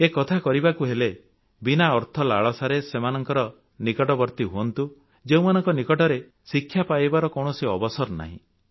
ଏକଥା କହିବାକୁ ହେଲେ ବିନା ଅର୍ଥ ଲାଳସାରେ ସେମାନଙ୍କର ନିକଟବର୍ତ୍ତୀ ହୁଅନ୍ତୁ ଯେଉଁମାନଙ୍କ ନିକଟରେ ଶିକ୍ଷା ପାଇବାର କୌଣସି ଅବସର ନାହିଁ